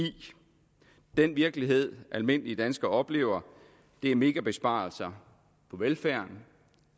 den virkelighed almindelige danskere oplever er megabesparelser på velfærden